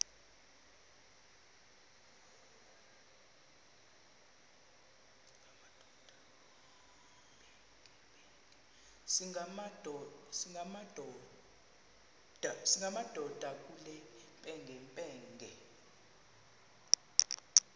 singamadoda kule mpengempenge